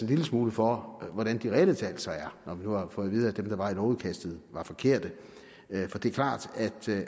lille smule for hvordan de reelle tal så er når vi nu har fået vide at dem der var i lovudkastet var forkerte for det er klart